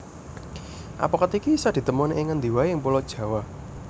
Apokat iki isa ditemoni ing ngendi waé ing Pulo Jawa